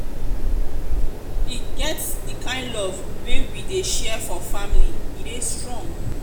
e get di kain love wey we dey share for family e dey strong.